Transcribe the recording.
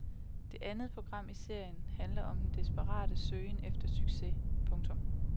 Det andet program i serien handler om den desperate søgen efter succes. punktum